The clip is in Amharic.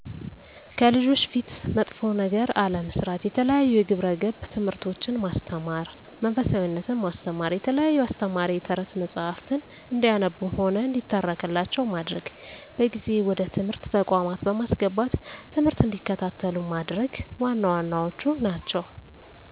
ከልጆች ፊት መጥፎ ነገር አለመስራት፣ የተለያዩ የግብረ ገብ ትምህርቶችን ማስተማር፣ መንፈሳዊነትን ማስተማ፣ የተለያዩ አስተማሪ የተረት መፀሀፍትን እንዲያነቡም ሆነ እንዲተረክላቸው ማድረግ፣ በጊዜ ወደ ትምህርት ተቋማት በማስገባት ትምህርት እንዲከታተሉ ማድረግ ዋና ዋናዎቹ ናቸው።